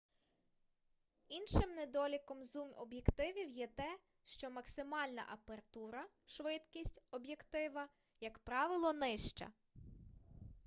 іншим недоліком зум-об'єктивів є те що максимальна апертура швидкість об'єктива як правило нижча